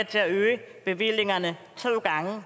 til at øge bevillingerne to gange og